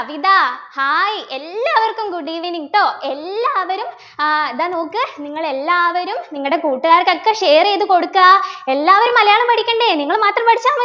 ഇതാ hi എല്ലാവർക്കും good evening ട്ടോ എല്ലാവരും ആഹ് ഇതാ നോക്ക് നിങ്ങളെല്ലാവരും നിങ്ങടെ കൂട്ടുകാർക്കൊക്കെ share ചെയ്തു കൊടുക്ക എല്ലാവരും മലയാളം പഠിക്കണ്ടേ നിങ്ങൾ മാത്രം പഠിച്ച മതിയോ